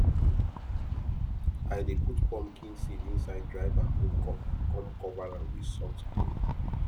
i dey put pumpkin seed inside dry bamboo cup cum cover am with soft cloth